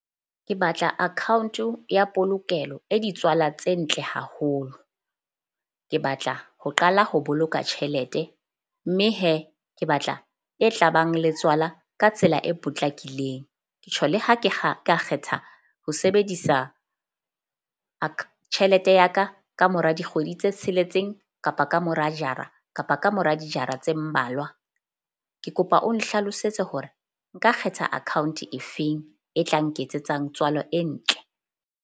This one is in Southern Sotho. Ke batla account-o ya polokelo e ditswala tse ntle haholo. Ke batla ho qala ho boloka tjhelete. Mme ke batla e tla bang le tswala ka tsela e potlakileng. Ke tjho le ha ke kgetha ho sebedisa tjhelete ya ka ka mora dikgwedi tse tsheletseng kapa ka mora jara kapa ka mora dijara tse mmalwa. Ke kopa o nhlalosetse hore nka kgetha account-e e feng e tla nketsetsang tswalo e ntle.